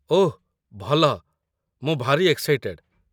ଓଃ ଭଲ, ମୁଁ ଭାରି ଏକ୍ସାଇଟେଡ୍ ।